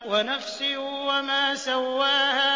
وَنَفْسٍ وَمَا سَوَّاهَا